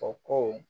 O ko